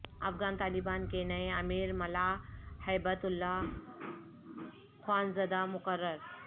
افغان طالبان کے نئے امیر ملا ہیبت اللہ خوانزادہ مقرر